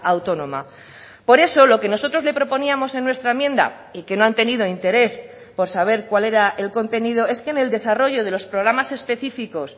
autónoma por eso lo que nosotros le proponíamos en nuestra enmienda y que no han tenido interés por saber cuál era el contenido es que en el desarrollo de los programas específicos